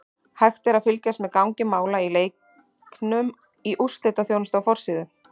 Hægt er að fylgjast með gangi mála í leiknum í úrslitaþjónustu á forsíðu.